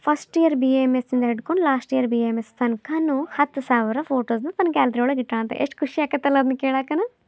First year BAMS ಇಂದ ಹಿಡ್ಕೊಂಡು last year BAMS ತನ್ಕಾನು ಹತ್ ಸಾವಿರ ಫೋಟೋಸ್ನ ತನ್ನ ಗ್ಯಾಲರಿ ( ಒಳಗೆ ಇಟ್ಟಾನ ಯೆಸ್ಟ್ ಖುಷಿ ಆಗ್ತಾಯಿತಲ್ಲ ಅದ್ನ ಕೇಳಾಕನ.